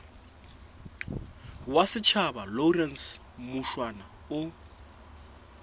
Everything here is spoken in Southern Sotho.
wa setjhaba lawrence mushwana o